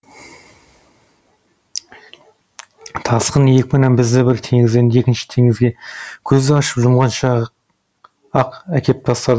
тасқын екпіні бізді бір теңізден екінші теңізге көзді ашып жұмғанша ақ әкеп тастады